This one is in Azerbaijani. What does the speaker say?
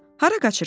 Hara qaçırsan?